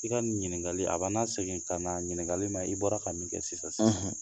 I ka ɲininkali a bɛ'a na segin ka na ɲikali ma i bɔra ka min kɛ sisan sisan;